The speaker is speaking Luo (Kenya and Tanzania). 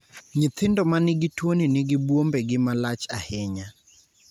Nyithindo ma nigi tuoni nigi buombegi ma lach ahinya.